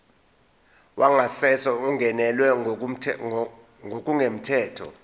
wangasese ungenelwe ngokungemthetho